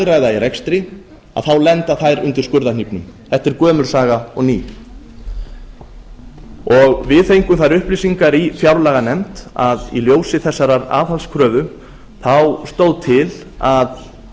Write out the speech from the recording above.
hagræða í rekstri þá lenda þær undir skurðarhnífnum þetta er gömul saga og ný við fengum þær upplýsingar í fjárlaganefnd að í ljósi þessarar aðhaldskröfu stóð til